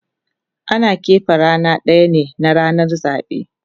Ana kepe rana daya ne na ranan zabe